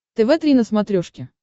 тв три на смотрешке